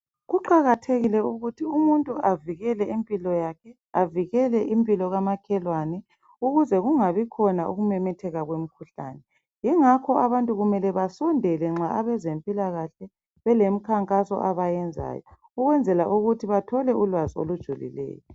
Kuqakathekile ukuthi umuntu avikele impilo yakhe , avikele impilo komakhelwane ukuze kungabi khona ukumemetheka kwemikhuhlane yingakho abantu kumele basondele nxa abezempilakahle belemikhankaso abayenzayo ukwenzela ukuthi bathole ulwazi olujulileyo.